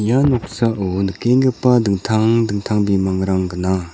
ia noksao nikenggipa dingtang dingtang bimangrang gnang.